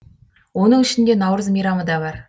оның ішінде наурыз мейрамы да бар